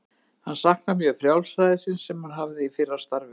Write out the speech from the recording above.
Hann saknar mjög frjálsræðisins sem hann hafði í fyrra starfi.